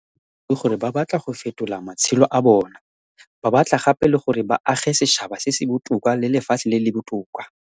Le fa e le boammaruri gore ba batla go fetola matshelo a bona, ba batla gape le gore ba age setšhaba se se botoka le lefatshe le le botoka.